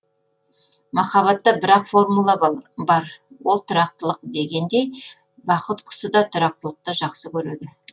махаббатта бір ақ формула бар ол тұрақтылық дегендей бақыт құсы да тұрақтылықты жақсы көреді